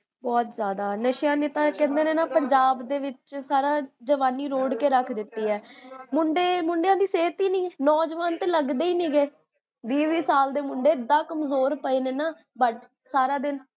ਬੋਹੋਤ ਜਾਦਾ, ਨਸ਼ਿਆਂ ਨੇ ਤਾ ਕਹੰਦੇ ਨੇ ਨਾ, ਪੰਜਾਬ ਦੇ ਵਿੱਚ, ਸਾਰਾ ਜਵਾਨੀ ਰੋੜ ਕੇ ਰਖ ਦਿੱਤੀ ਹੈ ਮੁੰਡੇ, ਮੁੰਡਿਆਂ ਦੀ ਸੇਹਤ ਹੀ ਨੀ ਹੈ ਨੋਜਵਾਨ ਤਾਂ ਲਗਦੇਹੀ ਨਿਗੇ ਵੀਹ ਵੀਹ ਸਾਲ ਦੇ ਮੁੰਡੇ ਤਾ ਇੰਨੇ ਕਮਜੋਰ ਪਏ ਨੇ ਨਾ, ਬੱਸ ਸਾਰਾ ਦਿਨ